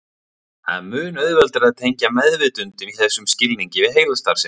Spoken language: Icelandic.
Það er mun auðveldara að tengja meðvitund í þessum skilningi við heilastarfsemi.